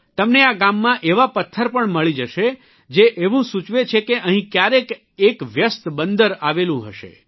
તમને આ ગામમાં એવા પથ્થર પણ મળી જશે જે એવું સૂચવે છે કે અહીં કયારેક એક વ્યસ્ત બંદર આવેલું હશે